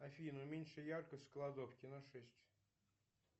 афина уменьши яркость в кладовке на шесть